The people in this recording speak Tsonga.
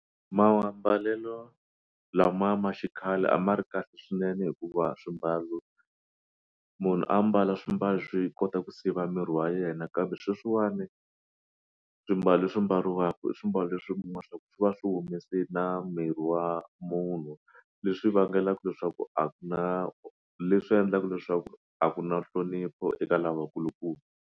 Mambalelo lama ma xikhale a ma ri kahle swinene hikuva swimbalo munhu a mbala swimbalo swo yi kota ku siva miri wa yena kambe sweswiwani swimbalo leswi mbaliwaka i swimbalo swi va swi humese na miri wa munhu leswi vangelaku leswaku a ku na leswi endlaka leswaku a ku na nhlonipho eka lavakulukumba.